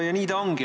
Nii ta ongi.